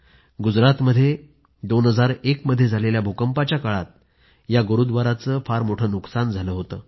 गुजरातमध्ये 2001मध्ये झालेल्या भूकंपाच्या काळात या गुरूव्दाराचे खूप मोठे नुकसान झाले होते